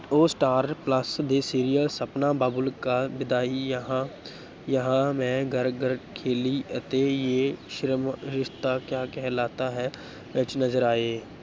ਉਹ ਸਟਾਰਪਲੱਸ ਦੇ serial ਸਪਨਾ ਬਾਬੁਲ ਕਾ ਵਿਦਾਈ ਜਹਾਂ ਜਹਾਂ ਮੈਂ ਘਰ ਘਰ ਖੇਲੀ ਅਤੇ ਜੇ ਰਿਸ਼ਤਾ ਕਿਆ ਕਹਿਲਾਤਾ ਹੈ, ਵਿੱਚ ਨਜ਼ਰ ਆਏ।